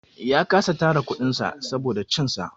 Ya kasa tara kuɗin sa saboda cin sa.